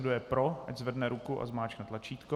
Kdo je pro, ať zvedne ruku a zmáčkne tlačítko.